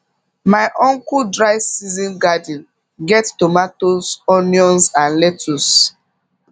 my uncle dry season garden get tomatoes onions and lettuce